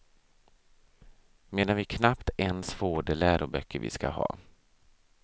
Medan vi knappt ens får de läroböcker vi ska ha.